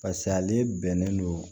paseke ale bɛnnen don